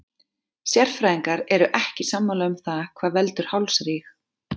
Sérfræðingar eru ekki sammála um það hvað veldur hálsríg.